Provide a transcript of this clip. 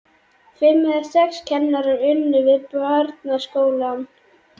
Fimm eða sex kennarar unnu við barnaskólann.